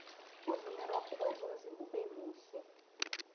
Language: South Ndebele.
ukudla imirorho kwenza umzimba ubemuhle